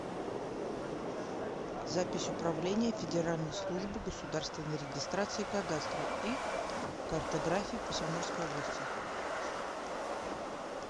запись управление федеральной службы государственной регистрации кадастра и картографии по самарской области